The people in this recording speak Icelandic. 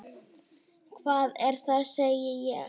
Hvað er það? segi ég.